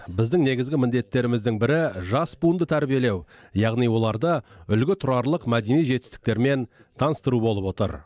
біздің негізгі міндеттеріміздің бірі жас буынды тәрбиелеу яғни оларды үлгі тұрарлық мәдени жетістіктермен таныстыру болып отыр